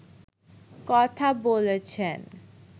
কথা বলেছেন